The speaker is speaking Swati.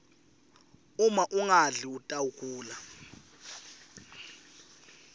uma ungadli utawgula